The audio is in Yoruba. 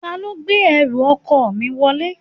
Ta ló gbé ẹrù ọkọ mi wọlé?